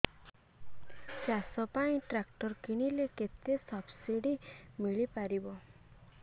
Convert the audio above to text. ଚାଷ ପାଇଁ ଟ୍ରାକ୍ଟର କିଣିଲେ କେତେ ସବ୍ସିଡି ମିଳିପାରିବ